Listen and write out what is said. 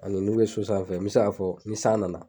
Ani n'u bɛ so sanfɛ fɛ mɛ se k'a fɔ ni san nana.